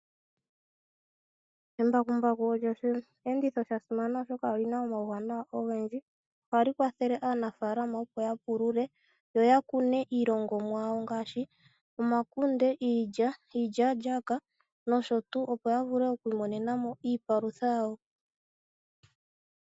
Embakumbaku olyo osheenditho shasimana oshoka olina omauwanawa ogendji. Ohali kwathele aanafaalama opo yapulule, yoyakune iilongomwa yawo ngaashi omakunde, iilya, iilyaalyaaka nayilwe opo yavule okwiimonenamo iipalutha yawo.